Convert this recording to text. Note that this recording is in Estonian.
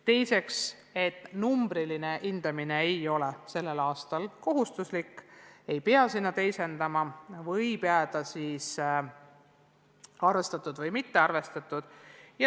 Teiseks, numbriline hindamine ei ole sellel aastal kohustuslik, tulemusi teisendama ei peab, võib jääda "arvestatud" või "mitte arvestatud".